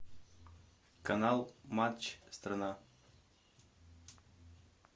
канал матч страна